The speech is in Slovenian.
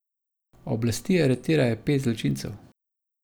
Oblasti aretirajo pet zločincev.